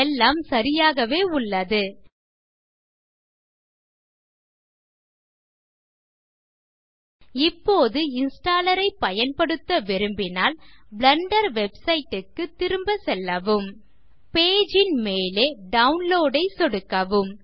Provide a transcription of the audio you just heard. எல்லாம் சரியாகவே உள்ளது இப்போது இன்ஸ்டாலர் ஐ பயன்படுத்த விரும்பினால் பிளெண்டர் வெப்சைட் க்கு திரும்ப செல்லவும் பேஜ் ன் மேலே டவுன்லோட் ஐ சொடுக்கவும்